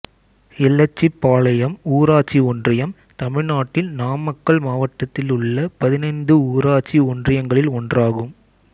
எலச்சிபாளையம் ஊராட்சி ஒன்றியம் தமிழ்நாட்டின் நாமக்கல் மாவட்டத்தில் உள்ள பதினைந்து ஊராட்சி ஒன்றியங்களில் ஒன்றாகும்